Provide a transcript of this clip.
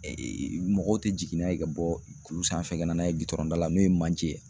mɔgɔw tɛ jigin n'a ye ka bɔ kulu sanfɛ ka na n'a ye gudɔrɔn da la n'o ye manje ye.